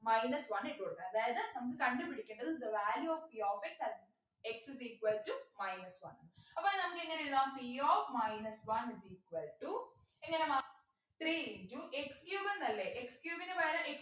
minus one ഇട്ടു കൊടുക്കണം അതായത് നമുക്ക് കണ്ടു പിടിക്കേണ്ടത് the value ofp of x at x is equal to minus one അപ്പൊ നമുക്കെങ്ങനെ എഴുതാം p of minus one is equal to എങ്ങനെ മാറും three into x cube എന്നല്ലേ x cube നു പകരം x